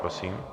Prosím.